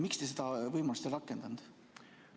Miks te seda võimalust ei rakendanud?